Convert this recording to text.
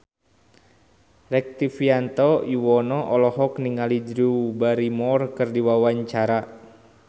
Rektivianto Yoewono olohok ningali Drew Barrymore keur diwawancara